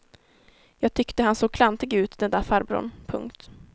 Jag tyckte han såg klantig ut den där farbrorn. punkt